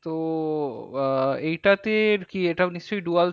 তো আহ এইটাতে কি এটা নিশ্চই dual